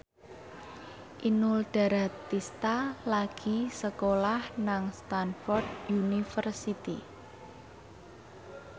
Inul Daratista lagi sekolah nang Stamford University